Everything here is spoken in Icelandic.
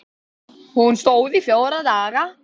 Hún stóð í fjóra daga.